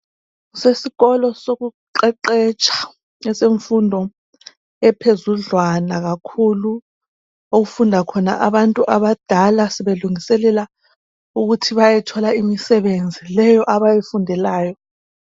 Kusesikolo sokuqeqetsha esemfundo ephezudlwana kakhulu, okufunda khona abantu abadala sebelungiselela ukuthi bayethola imisebenzi leyo abayifundelayo.